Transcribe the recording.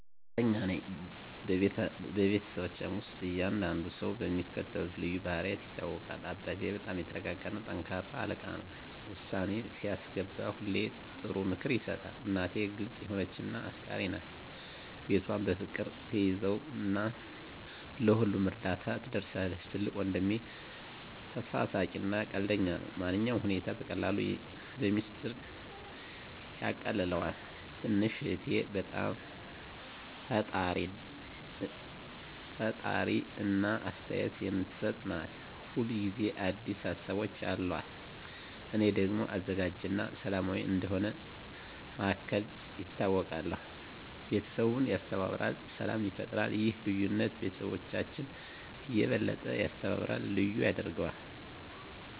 እርግጠኛ ነኝ፤ በቤተሰባችን ውስጥ እያንዳንዱ ሰው በሚከተሉት ልዩ ባህሪያት ይታወቃል - አባቴ በጣም የተረጋ እና ጠንካራ አለቃ ነው። ውሳኔ ሲያስገባ ሁሌ ጥሩ ምክር ይሰጣል። እናቴ ግልጽ የሆነች እና አፍቃሪች ናት። ቤቷን በፍቅር ትያዘው እና ለሁሉም እርዳታ ትደርሳለች። ትልቁ ወንድሜ ተሳሳቂ እና ቀልደኛ ነው። ማንኛውንም ሁኔታ በቀላሉ በሚስጥር ያቃልለዋል። ትንሹ እህቴ በጣም ፈጣሪ እና አስተያየት የምትሰጥ ናት። ሁል ጊዜ አዲስ ሀሳቦች አሉት። እኔ ደግሞ አዘጋጅ እና ሰላማዊ እንደ መሃከል ይታወቃለሁ። ቤተሰቡን ያስተባብራል እና ሰላም ይፈጥራል። ይህ ልዩነት ቤተሰባችንን የበለጠ ያስተባብራል እና ልዩ ያደርገዋል።